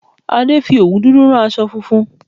Adé fi òwú dúdú rán aṣọ funfun